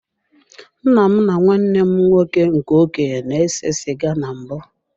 Nna m na nwanne m nwoke nke okenye na-ese sịga na mbụ.